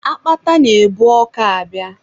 Akpata na-ebu ọkọ abịa.